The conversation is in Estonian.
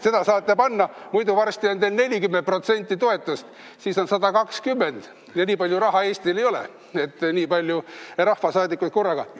Seda saate kasutada, muidu varsti on teil 40% toetust, siis on 120 ja nii palju raha Eestil ei ole, et nii palju rahvasaadikuid korraga.